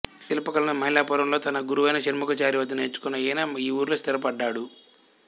శిల్పకళను మైలాపూరులో తన గురువైన షణ్ముగాచారి వద్ద నేర్చుకున్న ఈయన ఈ ఊరిలో స్థిరపడ్డాడు